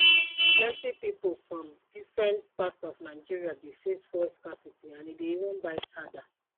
plenti pipo from different parts of nigeria dey face fuel scarcity and e dey even bite harder